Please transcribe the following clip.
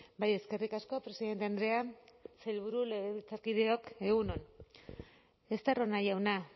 bai eskerrik asko presidente andrea sailburu legebiltzarkideok egun on estarrona jauna